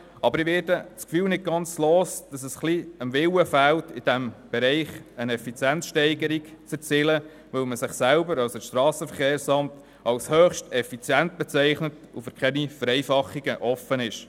Aber ich werde das Gefühl nicht ganz los, es fehle ein wenig am Willen, in diesem Bereich eine Effizienzsteigerung zu erzielen, weil man sich selber – das heisst das SVSA – als höchst effizient bezeichnet und für keine Vereinfachungen offen ist.